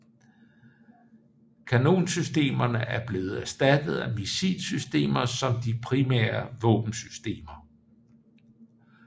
Kanonsystemerne er blevet erstattet af missilsystemer som de primære våbensystemer